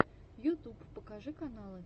ютюб покажи каналы